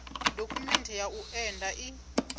dokhumenthe ya u enda i